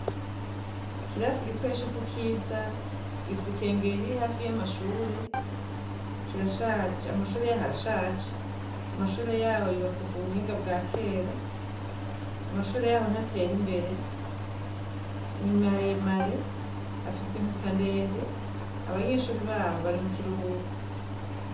Ikirasi igitoye co ku kiza ifise ikengee iriri hafi y'amashure kirashaje amashure yaho arashaje amashure yaho yuwase ku buhinga bwa kera amashure yaho ntatera imbere nimaremare afise inkuta ndende abanyeshuri baho bi mukiruhuko.